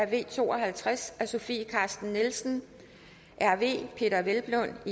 v to og halvtreds af sofie carsten nielsen peder hvelplund og